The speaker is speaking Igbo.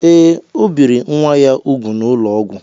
Ee, o biri nwa ya úgwù n'ụlọ ọgwụ